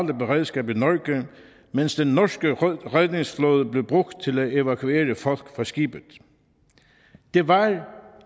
beredskab i norge mens den norske redningsflåde blev brugt til at evakuere folk fra skibet det var